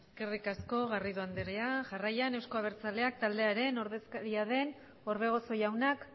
eskerrik asko garrido andrea jarraian euzko abertzaleak taldearen ordezkaria den orbegozo jaunak